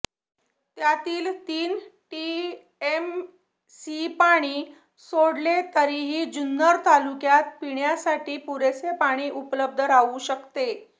त्यातील तीन टीएमसी पाणी सोडले तरीही जुन्नर तालुक्यात पिण्यासाठी पुरेसे पाणी उपलब्ध राहू शकते